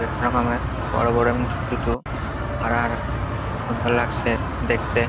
বিভিন্ন রকমের বড়ো বড়ো এবং ছোট ছোট হারা হারা এবং খুব সুন্দর লাগছে দেখতে।